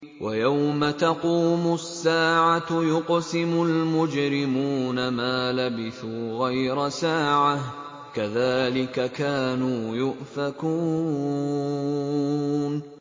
وَيَوْمَ تَقُومُ السَّاعَةُ يُقْسِمُ الْمُجْرِمُونَ مَا لَبِثُوا غَيْرَ سَاعَةٍ ۚ كَذَٰلِكَ كَانُوا يُؤْفَكُونَ